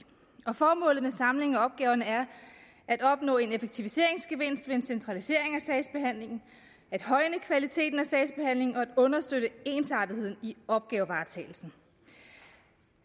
og formålet med samlingen af opgaverne er at opnå en effektiviseringsgevinst ved en centralisering af sagsbehandlingen at højne kvaliteten af sagsbehandlingen og at understøtte ensartetheden i opgavevaretagelsen